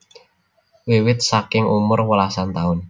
Wiwit saking umur welasan taun